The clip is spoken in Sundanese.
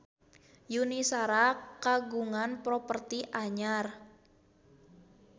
Yuni Shara kagungan properti anyar